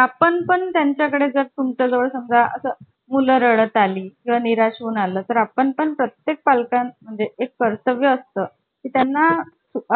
आपण पण त्यांच्याकडे जर तुमच्या जवळ समजा असं मुलं रडत आली व निराश होऊन आला तर आपण प्रत्येक पालकानं म्हणजे एक कर्तव्य असतं. त्यांना